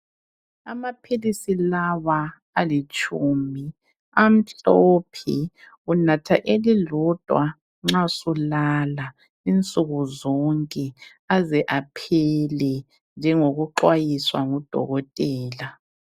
Amaphilisi lawa alitshumi amhlophe unatha elilodwa nxa sulala insuku zonke aze aphele njengoku xwayiswa ngudokotela.